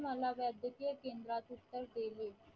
मला राजकीय केंद्रात उत्तर दिले